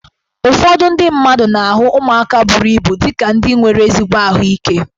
Ụfọdụ ndị mmadụ na-ahụ ụmụaka buru ibu dị ka ndị nwere ezigbo ahụike